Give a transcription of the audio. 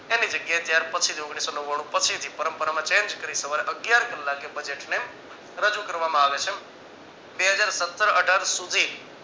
એની જગ્યા એ ત્યાર પછી જ ઓગણીસો નવાણું પછી જ પરંપરામાં change કરી સવારે અગિયાર કલાકે budget ને રજુ કરવામાં આવે છે. બે હજાર સત્તર અઢાર સુધી